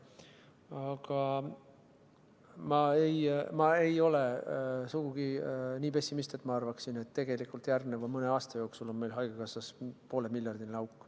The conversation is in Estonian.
Aga ei, ma ei ole sugugi nii pessimistlik, et ma arvaksin, et järgneva mõne aasta jooksul on meil haigekassas poole miljardiline auk.